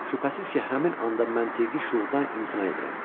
Şübhəsiz ki, həmin anda məntiqi şuurdan imtina edirəm.